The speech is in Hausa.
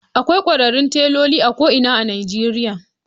Akwai kwararrun teloli a ko’ina a Nijeriya